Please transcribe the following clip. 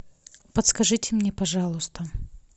подскажите мне пожалуйста